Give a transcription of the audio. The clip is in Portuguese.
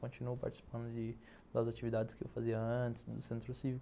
Continuo participando de das atividades que eu fazia antes no Centro Cívico.